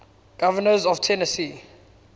governors of tennessee